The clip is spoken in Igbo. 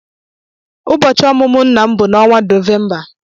Ụbọchị ọmụmụ nna m bụ n'ọnwa Nọvemba.